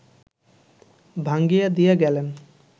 ভাঙ্গিয়া দিয়া গেলেন